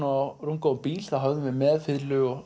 á rúmgóðum bíl höfðum við með fiðlu